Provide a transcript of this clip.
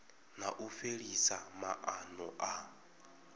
na u fhelisa maana a